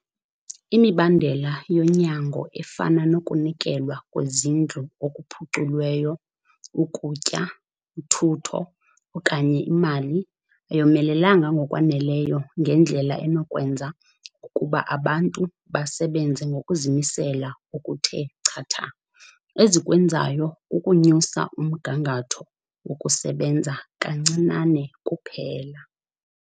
Imibandela yonyango efana nokunikelwa kwezindlu okuphuculweyo, ukutya, uthutho, okanye imali, ayomelelanga ngokwaneleyo ngendlela enokwenza ukuba abantu basebenze ngokuzimisela okuthe chatha. Ezikwenzayo kukunyusa umgangatho wokusebenza kancinane kuphela.